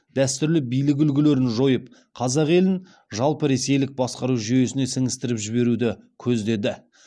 дәстүрлі билік үлгілерін жойып қазақ елін жалпы ресейлік басқару жүйесіне сіңістіріп жіберуді көздеді